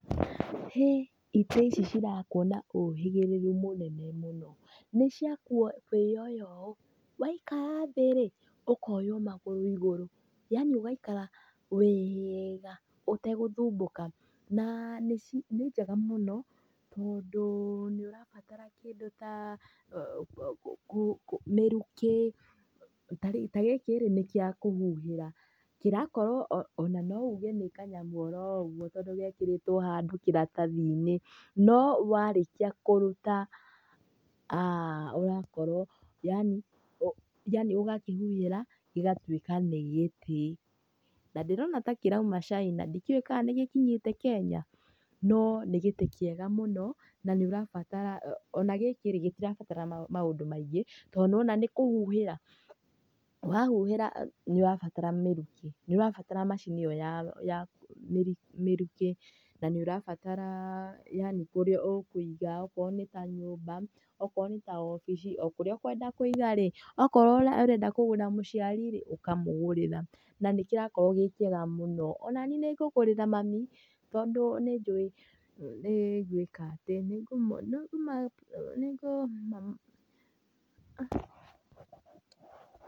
Hĩ, ĩtĩ ici cirakwo na ũhĩgĩrĩru mũnene mũno, nĩ cia kwĩoya ũũ, waikara thĩ rĩ ũkoywo magũru igũrũ yaani ũgaikara wega ũtegũthumbũka. Nĩ njega mũno tondũ nĩ ũrabatara kĩndũ ta, mĩrukĩ. Ta gĩkĩ rĩ nĩ gĩa kũhuhĩra korwo ona no ũge nĩ kanyamũ o ro ũguo tondũ gekĩrĩtwo handũ kĩratathi-inĩ, no warĩkia kũtuta ũrakora yaani ũgakĩhuhĩra gĩgatwĩka nĩ gĩtĩ. Na ndĩrona ta kĩroima Caina ndikĩũĩ kana nĩgĩkinyĩte Kenya, no nĩ gĩtĩ kĩega mũno na nĩ ũrabatara ona gĩkĩ rĩ gĩtirenda maũndũ maingĩ tondũ nĩ wona nĩ kũhuhĩra. Wahuhira nĩ ũrabatara mĩrukĩ nĩ ũrabatara macini ĩyo ya mĩrukĩ na nĩ ũrabatara yaani kũrĩa ũkũiga okorwo nĩ ta nyũmba, okorwo nĩ ta wabici o kũrĩa ũkenda kũiga rĩ, okorwo ũrenda kũgũrĩra mũciari rĩ ũkamũgũrĩra na n ĩkĩrakorwo gĩ kĩega mũno. Ona niĩ nĩ ngũgũrĩra mami tondũ nĩjũi nĩ gwĩka atĩ nĩngũmagũrĩra.